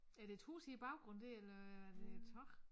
Er det et hus i baggrunden dér eller er det tag